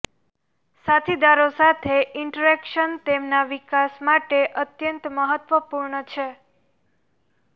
સાથીદારો સાથે ઇન્ટરેક્શન તેમના વિકાસ માટે અત્યંત મહત્વપૂર્ણ છે